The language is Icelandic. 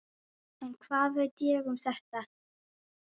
En hvað veit ég um þetta?